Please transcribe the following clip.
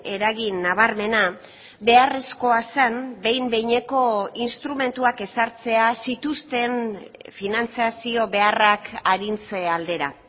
eragin nabarmena beharrezkoa zen behin behineko instrumentuak ezartzea zituzten finantzazio beharrak arintze aldera